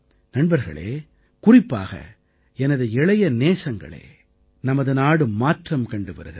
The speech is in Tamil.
நண்பர்களே குறிப்பாக எனது இளைய நேசங்களே நமது நாடு மாற்றம் கண்டு வருகிறது